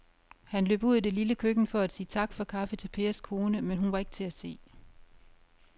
Han løb ud i det lille køkken for at sige tak for kaffe til Pers kone, men hun var ikke til at se.